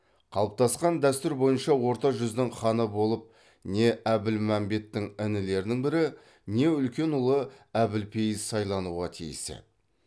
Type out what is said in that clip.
қалыптасқан дәстүр бойынша орта жүздің ханы болып не әбілмәмбеттің інілерінің бірі не үлкен ұлы әбілпейіз сайлануға тиіс еді